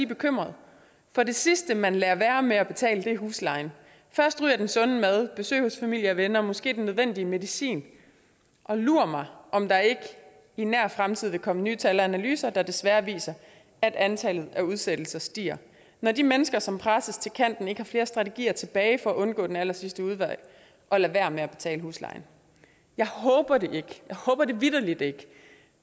bekymrede for det sidste man lader være med at betale er huslejen først ryger den sunde mad besøg hos familie og venner måske den nødvendige medicin og lur mig om der ikke i nær fremtid vil komme nye tal og analyser der desværre viser at antallet af udsættelser stiger når de mennesker som presses til kanten ikke har flere strategier tilbage for at undgå den allersidste udvej og lader være med at betale huslejen jeg håber det ikke jeg håber det vitterlig ikke